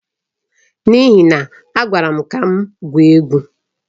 N'ihi na a gwara m ka m gwuo egwu.